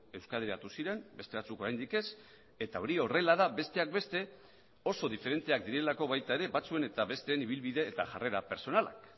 euskadiratu ziren beste batzuk oraindik ez eta hori horrela da besteak beste oso diferenteak direlako baita ere batzuen eta besteen ibilbide eta jarrera pertsonalak